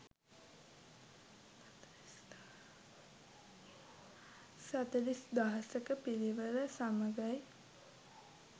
සතලිස් දහසක පිරිවර සමඟයි.